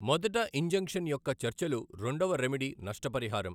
మొదట ఇంజంక్షన్ యొక్క చర్చలు రెండవ రెమెడి నష్టపరిహారం.